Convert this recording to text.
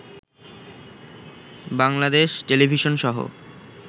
Bangladesh টেলিভিশনসহ